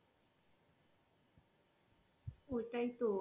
ওটাই তো.